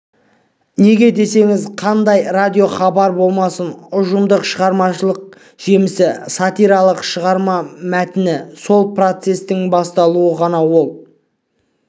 неге десеңіз қандай радиохабар болмасын ұжымдық шығармашылық жемісі сатиралық шығарма мәтіні сол процестің бастауы ғана ол